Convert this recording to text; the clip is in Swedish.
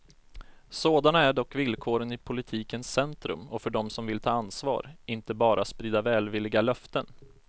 Sådana är dock villkoren i politikens centrum och för dem som vill ta ansvar, inte bara sprida välvilliga löften.